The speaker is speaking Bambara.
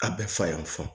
A bɛɛ fa y'an fa